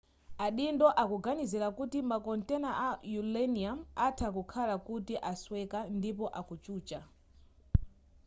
adindo akuganizira kuti makontena a uranium atha kukhala kuti asweka ndipo akuchucha